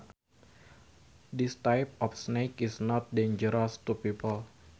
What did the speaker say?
This type of snake is not dangerous to people